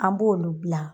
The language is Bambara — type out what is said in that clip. An b'olu bila